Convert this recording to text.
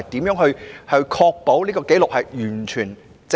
如何確保有關紀錄完全正確？